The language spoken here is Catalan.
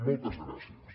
moltes gràcies